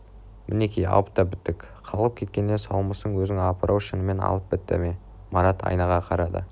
мінеки алып та біттік қалғып кеткеннен саумысың өзің апыр-ау шынымен алып бітті ме марат айнаға қарады